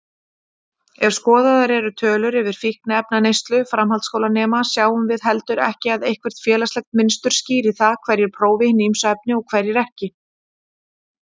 Ef skoðaðar eru tölur yfir fíkniefnaneyslu framhaldsskólanema sjáum við heldur ekki að eitthvert félagslegt mynstur skýri það hverjir prófi hin ýmsu efni og hverjir ekki.